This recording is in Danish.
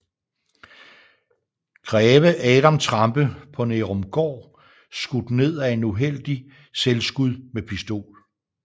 Greve Adam Trampe på Nærumgaard skudt ned af uheldigt selvskud med Pistol